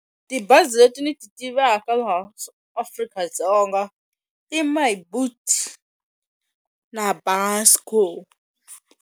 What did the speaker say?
Tibazi leti ni ti tivaka laha Afrika-Dzonga na .